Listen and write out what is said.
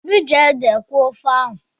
Obi ji ede kweẹ́ ofe ahu.